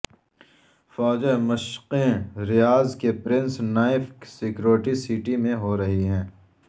فوجیں مشقیں ریاض کی پرنس نائف سکیورٹی سٹی میں ہو رہی ہیں